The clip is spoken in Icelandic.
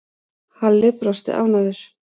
Halli brosti ánægður.